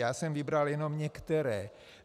Já jsem vybral jenom některé.